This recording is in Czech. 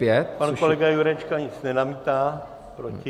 Pan kolega Jurečka nic nenamítá proti.